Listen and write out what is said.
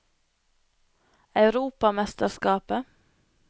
europamesterskapet